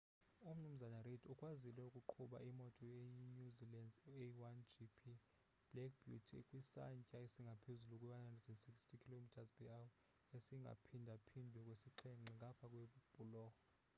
u mnumzana u reid ukwazile ukuqhuba imoto eyi new zealand's a1gp black beauty kwisantya esingaphezu kwe 160km/h esiphindaphindwe kasixhenxe ngapha kwebhulorho